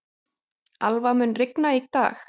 Alva, mun rigna í dag?